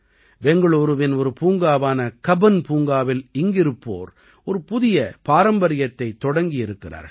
பெங்களூரூவின் ஒரு பூங்காவான கப்பன் பூங்காவில் இங்கிருப்போர் ஒரு புதிய பாரம்பரியத்தைத் தொடங்கியிருக்கிறார்கள்